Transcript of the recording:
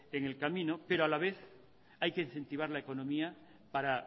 en el camino pero a la vez hay que incentivar la economía para